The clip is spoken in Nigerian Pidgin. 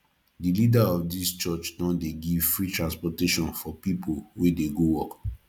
di leader of dis church don dey give free transportation for pipu wey dey go work